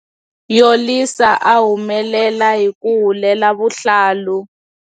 Yolisa a humelela hi ku hulela vuhlalu.